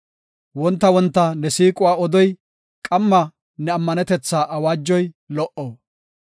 Wonta wonta ne siiquwa odoy, qamma ne ammanetetha awaajoy lo77o.